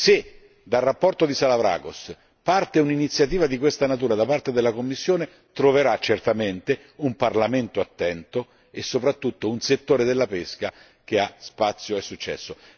Se dalla relazione di Salavrakos parte un'iniziativa di questa natura da parte della Commissione, troverà certamente un Parlamento attento e soprattutto un settore della pesca che ha spazio e successo.